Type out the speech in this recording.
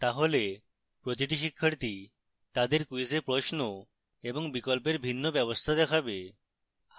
তাহলে প্রতিটি শিক্ষার্থী তাদের ক্যুইজে প্রশ্ন এবং বিকল্পের ভিন্ন ব্যবস্থা দেখবে